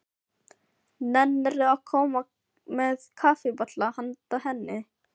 Nennirðu að koma með kaffibolla handa henni